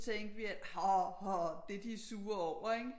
Tænkte vi at det de er sure over ikke